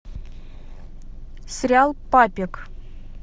сериал папик